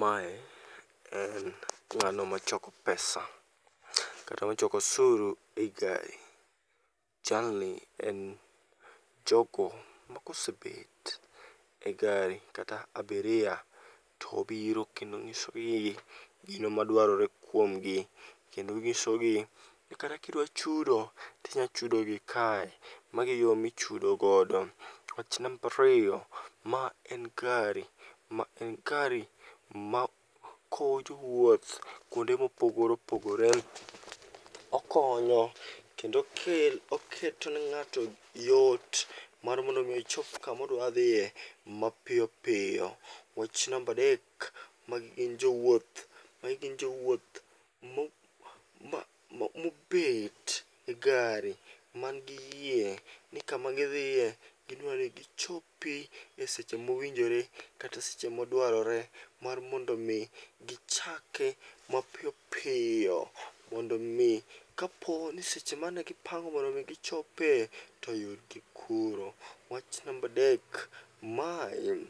Mae en ng'ano machoko pesa kata machoko osuru ei gari. Jalni en jogo makosebet e gari kata abiria tobiro kendo ong'isogi gino madwarore kuomgi. Kendo ong'isogi ni kata kidwa chudo tinyachudo gi kae, magi e yo michudo godo. Wach nambariyo, ma en gari, ma en gari ma kowo jowuoth kuonde mopogore opogore. Okonyo kendo oketo ne ng'ato yot mar mondo mi ochop kamodwa dhiye mapiyopiyo. Wach nambadek, magi gin jowuoth, magi gin jowuoth ma mobet e gari mn gi yie ni kama gidhiye gidwani gichopi e seche mowinjore kata seche modwarore. Mar mondo mi gichake mapiyo piyo mondo mi kapo ni seche mane gipango mondo mi gichope toyudgi kuro. Wach nambadek, mae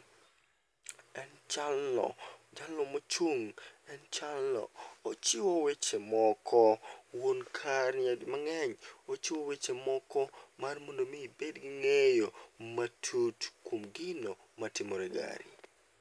en jalno mochung', en jalno ochiwo weche moko. Wuon kani mang'eny, ochiwo weche moko mar mondo mi ibed gi ng'eyo matut kuom gino matimore e gari.